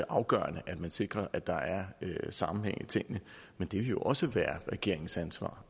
afgørende at man sikrer at der er sammenhæng i tingene men det vil jo også være regeringens ansvar